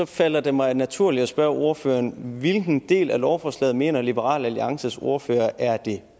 falder det mig naturligt at spørge ordføreren hvilken del af lovforslaget mener liberal alliances ordfører er den